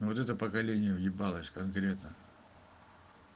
вот это поколение уебалось конкретно